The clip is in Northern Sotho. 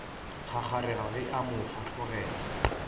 kgakgarega ge a mo fahlogela